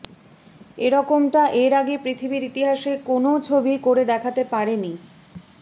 এরকমটা এর আগে পৃথিবীর ইতিহাসে কোনও ছবিই করে দেখাতে পারেনি